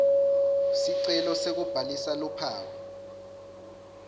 sicelo sekubhalisa luphawu